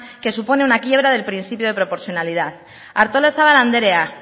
que supone una quiebra del principio de proporcionalidad artolazabal anderea